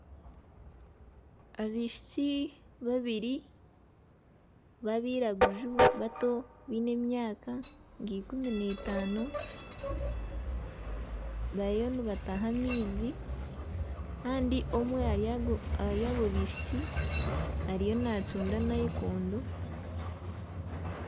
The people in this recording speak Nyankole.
Abaishiki babiri babairaguju bato baine emyaka nka ikumi n'etaano bariyo nibataha amaizi kandi omwe ahari abo baishiki ariyo nacunda nayikondo.